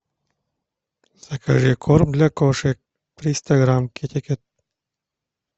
закажи корм для кошек триста грамм китикет